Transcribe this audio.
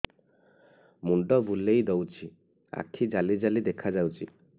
ମୁଣ୍ଡ ବୁଲେଇ ଦଉଚି ଆଖି ଜାଲି ଜାଲି ଦେଖା ଯାଉଚି